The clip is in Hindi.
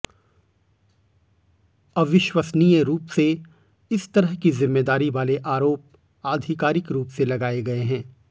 अविश्वसनीय रूप से इस तरह की जिम्मेदारी वाले आरोप आधिकारिक रूप से लगाए गए हैं